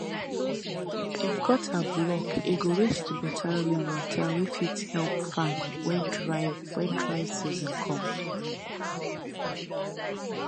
if gutter block e go waste better rainwater wey fit help farm when dry when dry season come